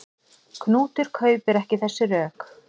Knútur kaupir ekki þessi rök.